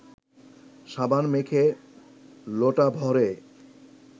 সাবান মেখে লোটা ভরে